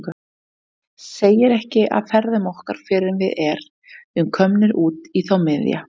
Segir ekki af ferðum okkar fyrr en við er- um komnir út í þá miðja.